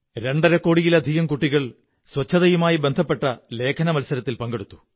രണ്ടരക്കോടിയിലധികം കുട്ടികൾ ശുചിത്വവുമായി ബന്ധപ്പെട്ട ലേഖനമത്സരത്തിൽ പങ്കെടുത്തു